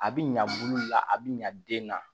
A bi ɲa bulu la a bi ɲa den na